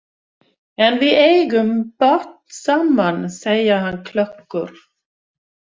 En við eigum barn saman, segir hann klökkur.